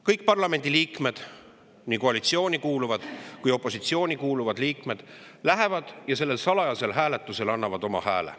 Kõik parlamendiliikmed, nii koalitsiooni kuuluvad kui ka opositsiooni kuuluvad liikmed, lähevad ja annavad sellel salajasel hääletusel oma hääle.